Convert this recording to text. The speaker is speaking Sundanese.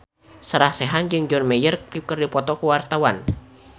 Sarah Sechan jeung John Mayer keur dipoto ku wartawan